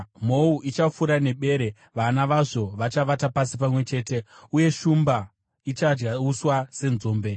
Mhou ichafura nebere, vana vazvo vachavata pasi pamwe chete, uye shumba ichadya uswa senzombe.